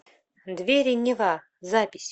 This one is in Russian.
двери нева запись